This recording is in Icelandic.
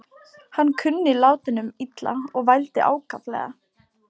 Hann kunni látunum illa og vældi ákaflega.